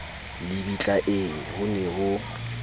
lebitla ee ho ne ho